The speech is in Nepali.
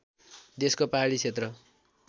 देशको पहाडी क्षेत्र